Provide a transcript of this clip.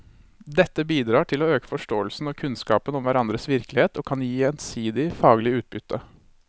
Dette bidrar til å øke forståelsen og kunnskapen om hverandres virkelighet og kan gi gjensidig faglig utbytte.